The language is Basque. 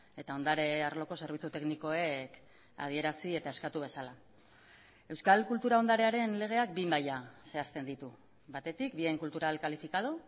eta ondare arloko zerbitzu teknikoek adierazi eta eskatu bezala euskal kultura ondarearen legeak bi maila zehazten ditu batetik bien cultural calificado